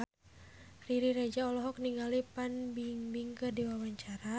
Riri Reza olohok ningali Fan Bingbing keur diwawancara